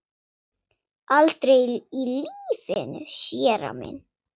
Aldrei í lífinu, séra minn.